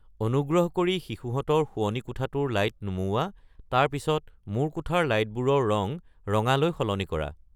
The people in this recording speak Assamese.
অনুগ্ৰহ কৰি শিশুহঁতৰ শোৱনি কোঠাটোৰ লাইট নুমুওৱা তাৰ পিছত মোৰ কোঠাৰ লাইটবোৰৰ ৰং ৰঙালৈ সলনি কৰা